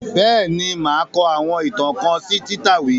Bẹ́ẹ̀ ni, màá kọ àwọn ìtàn kan sí Títáwì